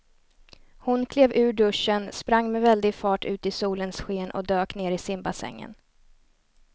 Hon klev ur duschen, sprang med väldig fart ut i solens sken och dök ner i simbassängen.